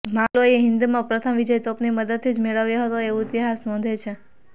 મોગલોએ હિન્દમાં પ્રથમ વિજય તોપની મદદથી જ મેળવ્યો હતો એવું ઇતિહાસ નોંધે છે